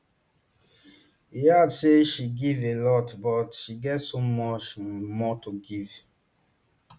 e add say she give a lot but she get so much um more to give um